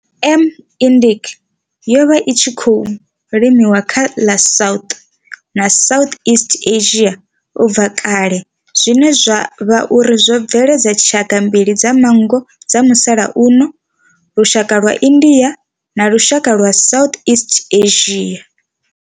M. indica yo vha i tshi khou limiwa kha ḽa South na Southeast Asia ubva kale zwine zwa vha uri zwo bveledza tshaka mbili dza manngo dza musalauno, lushaka lwa India na lushaka lwa Southeast Asia.